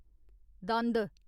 दंद